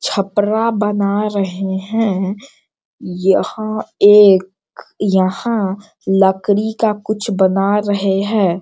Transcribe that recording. छपरा बना रहे हैं | यहाँ एक यहाँ लकड़ी का कुछ बना रहे है।